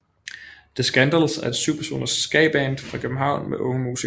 The Skandals er et 7 personers skaband fra København med unge musikere